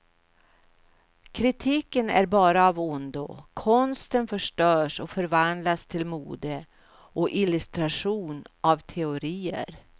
Kritiken är bara av ondo, konsten förstörs och förvandlas till mode och illustration av teorier.